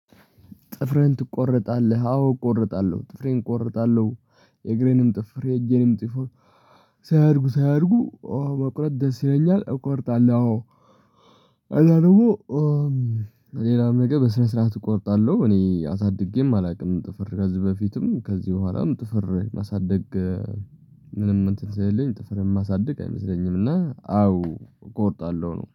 ጥፍርህን ትቆረጣለህ አዎ አቆረጣለሁ ጥፍሬን አቆረጣለሁ የእግሬንም ጥፍር የእጄንም ጥፍር ሳያድጉ ሳያድጉ መቁረጥ ደስ ይለኛል እቆርጣለሁ አዎ። ከዛ ደግሞ ሌላም ነገር በስነስረአት እቆርጣለሁ እኔ አሳድጌም አላቅም። ጥፍር ከዚ በፊትም ከዚ በሁዋላም ጥፍር ማሳደግ ምንም እንትን ስለሌኝ ጥፍር የማሳድግ አይመስለኝም። እና አዎ እቆርጣለሁ ነው